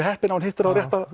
heppinn ef hann hittir á rétta